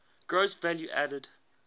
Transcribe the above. gross value added